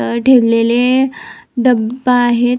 अ ठेवलेले डबा आहेत.